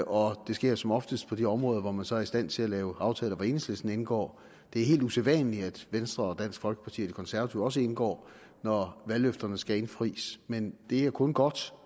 og det sker som oftest på de områder hvor man så er i stand til at lave aftaler hvor enhedslisten indgår det er helt usædvanligt at venstre og dansk folkeparti og de konservative også indgår når valgløfterne skal indfries men det er kun godt